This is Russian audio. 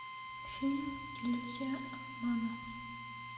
фильм иллюзия обмана